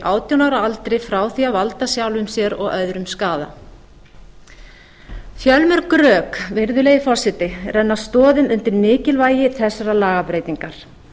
átján ára aldri frá því að valda sjálfum sér og öðrum skaða fjölmörg rök virðulegi forseti renna stoðum undir mikilvægi þessarar lagabreytingar